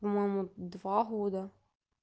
по-моему два года